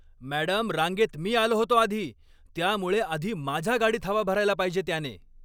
Madam, रांगेत मी आलो होतो आधी, त्यामुळे आधी माझ्या गाडीत हवा भरायला पाहिजे त्याने.